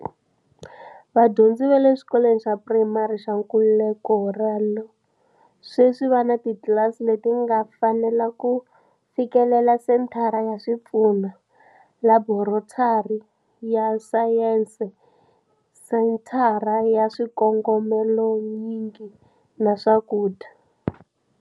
Vadyondzi va le Xikolweni xa Purayimari xa Nkululeko Ralo sweswi va ni titlilasi leti nga fanela na ku fikelela senthara ya swipfuno, laborotari ya sayense, Senthara ya swikongomelonyingi na swakudya.